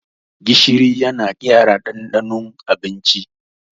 Gishiri yana gyara ɗanɗanon abinci.